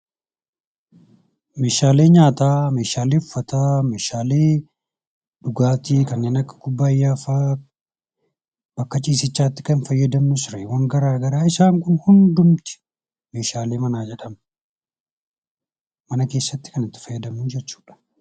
Meeshaalee nyaataa, meeshaalee uffataa, meeshaalee dhugaatii kanneen akka kubbayyaa, meeshaalee bakka sireetti fayyadamnu isaan kun hundumti meeshaalee manaa jedhamu. Mana keessattis kan itti fayyadamnudha.